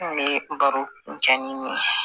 N bɛ baro kuncɛ ni